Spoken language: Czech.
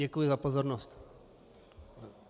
Děkuji za pozornost.